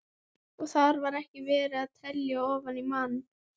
Grímur beygði inn í götuna og lét telpuna frá sér.